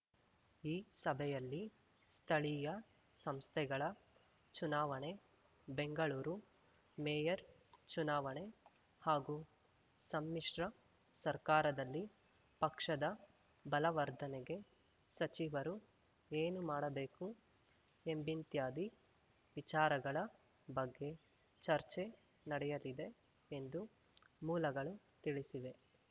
ಈ ಸಭೆಯಲ್ಲಿ ಸ್ಥಳೀಯ ಸಂಸ್ಥೆಗಳ ಚುನಾವಣೆ ಬೆಂಗಳೂರು ಮೇಯರ್‌ ಚುನಾವಣೆ ಹಾಗೂ ಸಮ್ಮಿಶ್ರ ಸರ್ಕಾರದಲ್ಲಿ ಪಕ್ಷದ ಬಲವರ್ಧನೆಗೆ ಸಚಿವರು ಏನು ಮಾಡಬೇಕು ಎಂಬಿಂತ್ಯಾದಿ ವಿಚಾರಗಳ ಬಗ್ಗೆ ಚರ್ಚೆ ನಡೆಯಲಿದೆ ಎಂದು ಮೂಲಗಳು ತಿಳಿಸಿವೆ